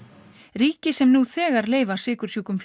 ríki sem nú þegar leyfa sykursjúkum